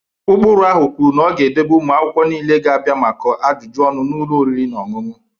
Ụkpụrụ ahụ kwuru na ọ ga-edebe ụmụ akwụkwọ niile ga-abịa maka ajụjụ ọnụ n'ụlọ oriri na ọṅụṅụ.